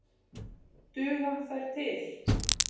Duga þær til?